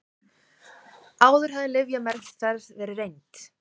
Áður hafði lyfjameðferð verið reynd